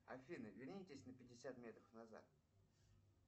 афина вернитесь на пятьдесят метров назад